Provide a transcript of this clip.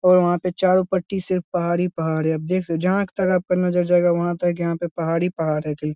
और वहां पे चारो तरफ सिर्फ पहाड़ ही पहाड़ है आप देखो जहाँ कि थाहा आपका नजर जायगा वहां तक यहाँ पर पहाड़ ही पहाड़ रहते है ।